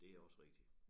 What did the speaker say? Det også rigtigt